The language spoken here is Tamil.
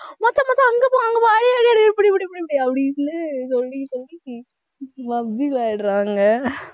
முத்து முத்து அங்க போ அங்க போ அடி அடி அடி புடி புடி புடி அப்டின்னு சொல்லி சொல்லி PUB G விளையாடுறாங்க